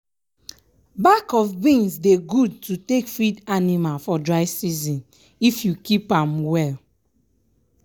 bak of beans dey gud to take feed anima for dry season if you keep am well.